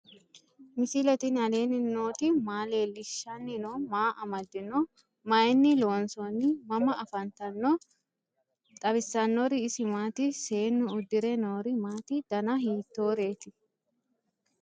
misile tini alenni nooti maa leelishanni noo? maa amadinno? Maayinni loonisoonni? mama affanttanno? xawisanori isi maati? seennu udire noiri maati? danna hiittoretti?